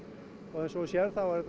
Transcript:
eins og þú sérð þá er